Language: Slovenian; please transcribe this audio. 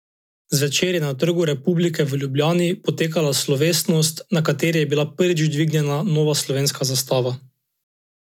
Zvečer je na Trgu republike v Ljubljani potekala slovesnost, na kateri je bila prvič dvignjena nova slovenska zastava.